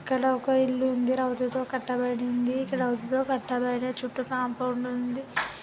అక్కడ ఒక ఇల్లు ఉందిరావుతో కట్టబడింది ఇక్కడ చుట్టూ కాంపౌండ్ ఉంది.